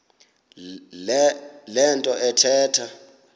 le nto athetha